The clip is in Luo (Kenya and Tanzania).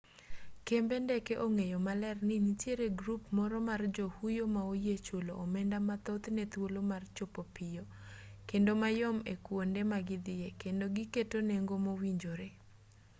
kembe ndeke ong'eyo maler ni nitiere grup moro mar johuyo ma oyie chulo omenda mathoth ne thuolo mar chopo piyo kendo mayom e kwonde ma gidhiye kendo giketo nengo mowinjore